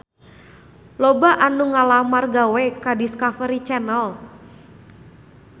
Loba anu ngalamar gawe ka Discovery Channel